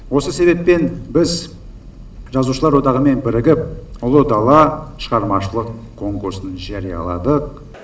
осы себеппен біз жазушылар одағымен бірігіп ұлы дала шығармашылық конкурсын жарияладық